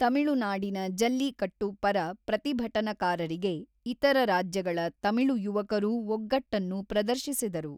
ತಮಿಳುನಾಡಿನ ಜಲ್ಲಿಕಟ್ಟು ಪರ ಪ್ರತಿಭಟನಾಕಾರರಿಗೆ ಇತರ ರಾಜ್ಯಗಳ ತಮಿಳು ಯುವಕರೂ ಒಗ್ಗಟ್ಟನ್ನು ಪ್ರದರ್ಶಿಸಿದರು.